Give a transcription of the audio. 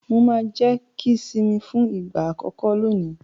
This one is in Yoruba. Mà á jẹ kíḿṣì fún ìgbà àkọ́kọ́ lónìí.